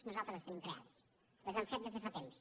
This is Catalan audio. nosaltres les tenim creades les hem fet des de fa temps